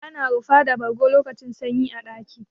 Ana rufuwa da bargo lokacin sanyi a ɗaki.